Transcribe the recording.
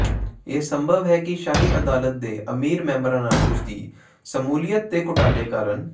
ਇਹ ਸੰਭਵ ਹੈ ਕਿ ਸ਼ਾਹੀ ਅਦਾਲਤ ਦੇ ਅਮੀਰ ਮੈਂਬਰਾਂ ਨਾਲ ਉਸਦੀ ਸ਼ਮੂਲੀਅਤ ਦੇ ਘੁਟਾਲੇ ਕਾਰਨ